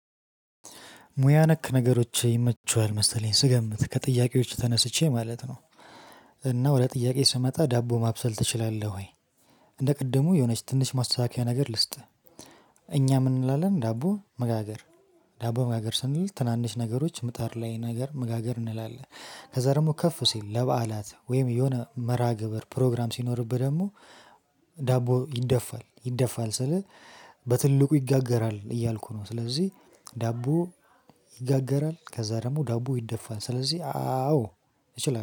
ሙያ ነክ ነገሮች ይመቹሃል መሰለኝ ስገምት ከጥያቄዎች ተነስቼ ማለት ነው። እና ወደ ጥያቄ ስመጣ ዳቦ ማብሰል ትችላለህ ወይ? እንደ ቅድሙ የሆነች ትንሽ ማስታከያ ነገር ልስጥህ። እኛ ምን እንላለን ዳቦ መጋገር ዳቦ መጋገር ስንል ትናንሽ ነገሮች ምጣድ ላይ ነገር መጋገር እንላለን። ከዛ ደግሞ ከፍ ሲል ለበዓላት ወይም የሆነ መረሃ ግብር ፕሮግራም ሲኖርብህ ደግሞ። ዳቦ ይደፋል ይደፋል ስልህ። በትልቁ ይጋገራል እያልኩ ነው ስለዚህ። ዳቦ ይጋገራል ከዛ ደግሞ ዳቦ ይደፋል ስለዚህ አዎ።